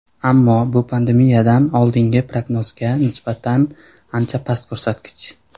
Ammo bu pandemiyadan oldingi prognozga nisbatan ancha past ko‘rsatkich.